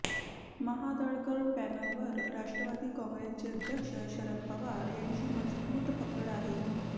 महाडदळकर पॅनलवर राष्ट्रवादी काँग्रेसचे अध्यक्ष शरद पवार यांची मजबूत पकड आहे